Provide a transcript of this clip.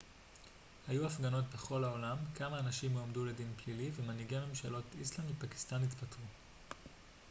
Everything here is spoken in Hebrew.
היו הפגנות בכל העולם כמה אנשים הועמדו לדין פלילי ומנהיגי ממשלות איסלנד ופקיסטן התפטרו